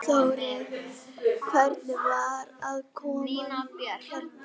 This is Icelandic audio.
Þórir: Hvernig var aðkoman hérna?